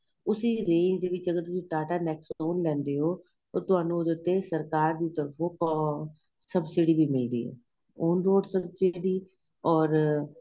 ਉਸੀ range ਵਿੱਚ ਅਗ਼ਰ ਤੁਸੀਂ ਟਾਟਾ nexon ਲੈਂਦੇ ਹੋ ਔਰ ਤੁਹਾਨੂੰ ਉਹਦੇ ਉਤੇ ਸਰਕਾਰ ਦੀ ਤਰਫੋਂ ਅਹ ਸਭਸੀਡੀ ਵੀ ਮਿਲਦੀ ਏ on road ਸਭਸੀਡੀ ਔਰ